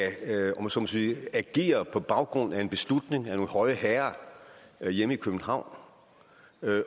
om jeg så må sige agere på baggrund af en beslutning af nogle høje herrer hjemme i københavn